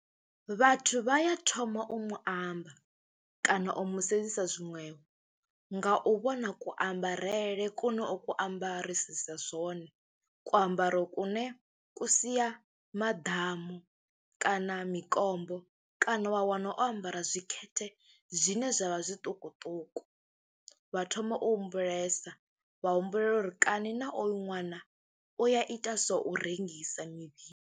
Vhathu vha ya thoma u mu amba kana u mu sedzisa zwiṅwe nga u vhona kuambarele kune o ku ambarisisa zwone. Kuambaro kune ku sia maḓamu kana mikombo kana wa wana o ambara zwikhethe zwine zwa vha zwiṱukuṱuku, vha thoma u humbulesa, wa humbulela uri kani na oyo ṅwana u ya ita zwo u rengisa mivhili.